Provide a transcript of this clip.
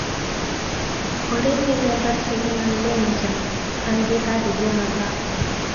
olly ni namba cigana mejja angihararĩrĩa mathako